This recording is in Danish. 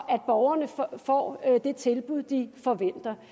at borgerne får det tilbud de forventer